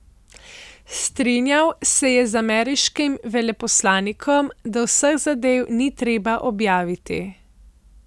Strinjal se je z ameriškim veleposlanikom, da vseh zadev ni treba objavljati.